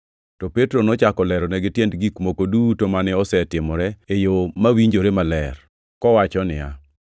To Petro nochako leronegi tiend gik moko duto mane osetimore, e yo mawinjore maler, kowacho niya,